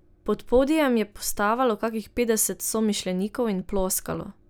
Pod podijem je postavalo kakih petdeset somišljenikov in ploskalo.